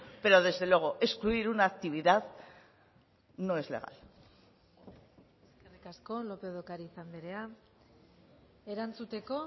pero desde luego excluir una actividad no es legal eskerrik asko lópez de ocariz andrea erantzuteko